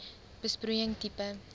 besproeiing tipe